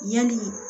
Yani